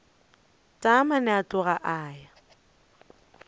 taamane a tloga a ya